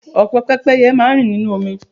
Ọ̀pọ̀ pẹ́pẹ́ye máa rìn nínú omi.